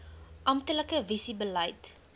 amptelike visie beleid